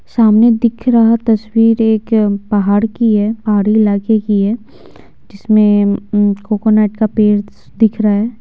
सामने दिख रहा तस्वीर एक पहाड़ की है पहाड़ी इलाके की है जिसमें कोकोनट का पेड़ दिख रहा है।